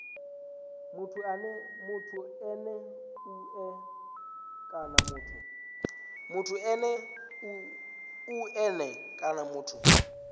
muthu ene mue kana muthu